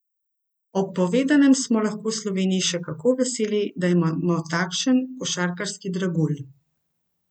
Ob povedanem smo lahko v Sloveniji še kako veseli, da imamo takšen košarkarski dragulj.